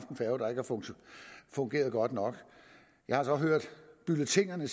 fungeret godt nok jeg har så hørt bulletiner